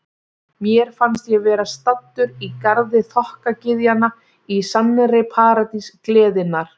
Mér fannst ég vera staddur í garði þokkagyðjanna, í sannri paradís gleðinnar.